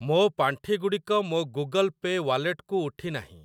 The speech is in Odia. ମୋ ପାଣ୍ଠିଗୁଡ଼ିକ ମୋ ଗୁଗଲ୍ ପେ ୱାଲେଟକୁ ଉଠି ନାହିଁ।